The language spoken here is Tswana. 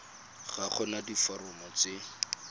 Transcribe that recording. ga go na diforomo tse